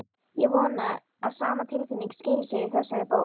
Ég vona að sama tilfinning skili sér í þessari bók.